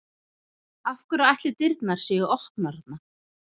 Af hverju ætli dyrnar séu opnar þarna?